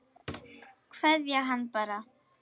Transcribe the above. Kveðja hann bara.